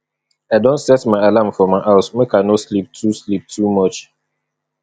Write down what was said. i don set my alarm for my house make i no sleep too sleep too much